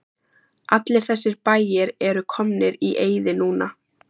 Allir þessir bæir eru komnir í eyði núna.